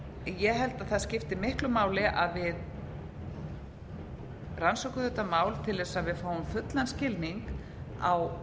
held að það skipti miklu máli að við rannsökum þetta mál til þess að fáum fullan skilning á